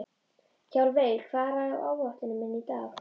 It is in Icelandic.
Hjálmveig, hvað er á áætluninni minni í dag?